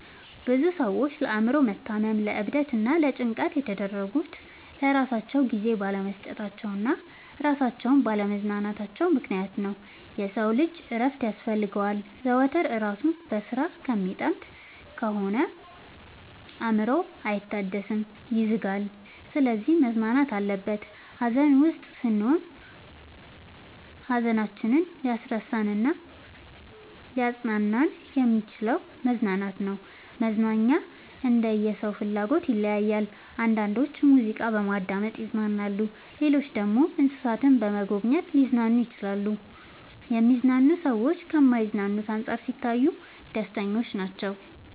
ብዙ ሰዎች ለአእምሮ መታመም ለዕብደት እና ለጭንቀት የተዳረጉት ለራሳቸው ጊዜ ባለመስጠታቸው እና እራሳቸውን ባለ ማዝናናታቸው ምክንያት ነው። የሰው ልጅ እረፍት ያስፈልገዋል። ዘወትር እራሱን በስራ ከሚጠምድ ከሆነ አእምሮው አይታደስም ይዝጋል። ስለዚህ መዝናናት አለበት። ሀዘን ውስጥ ስንሆን ሀዘናችንን ሊያስረሳን እናሊያፅናናን የሚችለው መዝናናት ነው። መዝናናኛ እንደየ ሰው ፍላጎት ይለያያል። አንዳንዶች ሙዚቃ በማዳመጥ ይዝናናሉ ሌሎች ደግሞ እንሰሳትን በመጎብኘት ሊዝናኑ ይችላሉ። የሚዝናኑ ሰዎች ከማይዝናኑት አንፃር ሲታዩ ደስተኞች ናቸው።